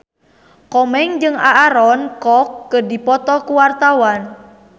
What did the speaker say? Komeng jeung Aaron Kwok keur dipoto ku wartawan